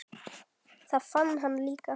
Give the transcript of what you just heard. Það vann hann líka.